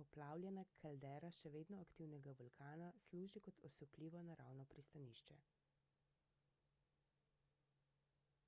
poplavljena kaldera še vedno aktivnega vulkana služi kot osupljivo naravno pristanišče